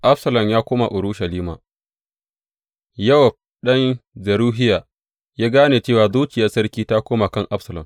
Absalom ya koma Urushalima Yowab, ɗan Zeruhiya ya gane cewa zuriyar sarki ta koma ga Absalom.